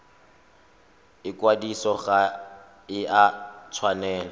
ikwadiso ga e a tshwanela